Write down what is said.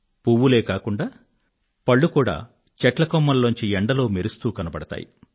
పువ్వులే కాకుండా పళ్ళు కూడా చెట్ల కొమ్మల్లో నుండి ఎండలో మెరుస్తూ కనబడతాయి